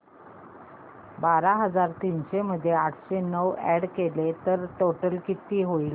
बारा हजार तीनशे मध्ये आठशे नऊ अॅड केले तर टोटल किती होईल